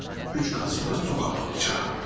Üç qat sonra küçədə olacaqam.